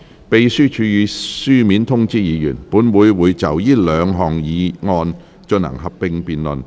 秘書處已書面通知議員，本會會就這兩項議案進行合併辯論。